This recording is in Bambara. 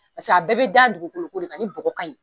Paseke a bɛɛ be da dugukolo ko de kan ni bɔgɔ ka ɲi